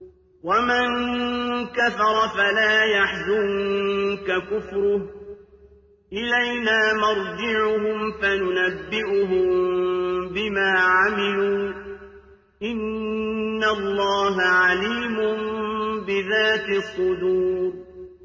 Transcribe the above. وَمَن كَفَرَ فَلَا يَحْزُنكَ كُفْرُهُ ۚ إِلَيْنَا مَرْجِعُهُمْ فَنُنَبِّئُهُم بِمَا عَمِلُوا ۚ إِنَّ اللَّهَ عَلِيمٌ بِذَاتِ الصُّدُورِ